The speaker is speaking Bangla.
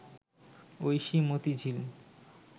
ঐশী মতিঝিল